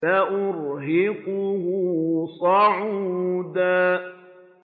سَأُرْهِقُهُ صَعُودًا